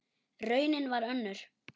Raunin varð önnur.